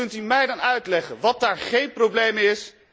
En kunt u mij dan uitleggen wat daar geen probleem is?